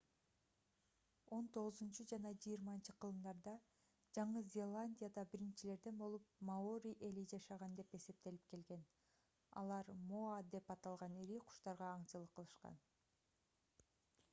он тогузунчу жана жыйырманчы кылымдарда жаңы зеландияда биринчилерден болуп маори эли жашаган деп эсептелип келген алар моа деп аталган ири куштарга аңчылык кылышкан